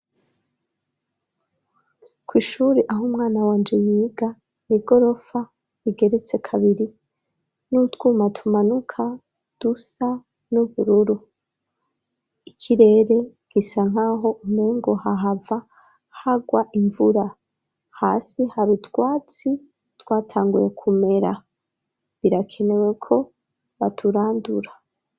ku ishuri aho umwana wanje yiga ni igorofa igeretse kabiri n'utwuma tumanuka dusa n'ubururu ikirere gisa nkaho umpengo hahava hagwa imvura, hasi hari utwatsi twatanguye kumera birakenewe ko baturandura.